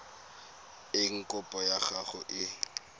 eng kopo ya gago e